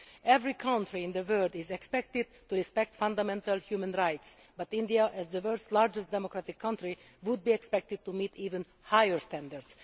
Every country in the world is expected to respect fundamental human rights, but India, as the world's largest democratic country, would be expected to meet even higher standards.